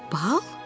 Bal?